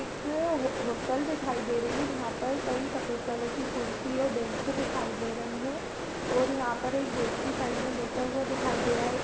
एक हो होटल दिखाई दे रही है जहाँ पर कई सफेद कलर की कुर्सी और बेंचे दिखाई दे रही हैं और यहां पर एक व्यक्ति साइड में बैठा हुआ दिखाई दे रहा है। एक --